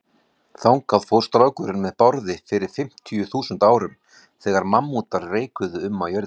Þangað fór strákurinn með Bárði fyrir fimmtíu þúsund árum, þegar mammútar reikuðu um á jörðinni.